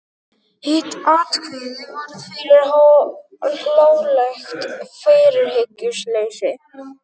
Hitt atvikið varð fyrir hlálegt fyrirhyggjuleysi.